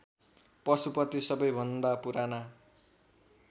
पशुपति सबैभन्दा पुराना